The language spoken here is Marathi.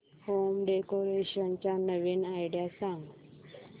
होम डेकोरेशन च्या नवीन आयडीया सांग